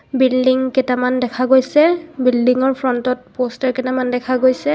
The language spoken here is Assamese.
বিল্ডিংকেইটামান দেখা গৈছে বিল্ডিংৰ ফ্ৰন্টত পষ্টাৰ কেটামান দেখা গৈছে।